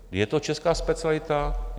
Je to česká specialita?